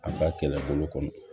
A ka kɛlɛbolo kɔnɔ